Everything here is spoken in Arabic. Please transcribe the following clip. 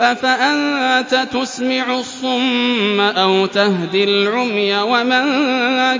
أَفَأَنتَ تُسْمِعُ الصُّمَّ أَوْ تَهْدِي الْعُمْيَ وَمَن